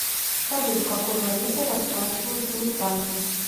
салют какой валютой расплачиваются в испании